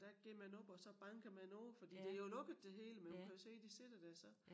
Der går man op og så banker man på fordi det jo lukket det hele men hun kan jo se de sidder der så